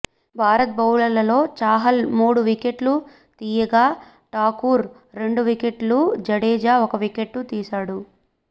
భారత్ బౌలర్లలో చాహల్ మూడు వికెట్లు తీయగా టాకూర్ రెండు వికెట్లు జడేజా ఒక వికెట్ తీశాడు